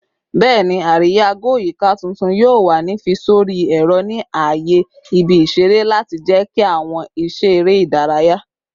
Bẹẹni, ariya-go-yika tuntun yoo wa ni fi sori ẹrọ ni aaye ibi-iṣere lati jẹki awọn iṣẹ ere idaraya